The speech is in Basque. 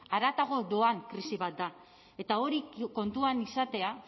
haratago doan krisi bat da eta hori kontuan izatea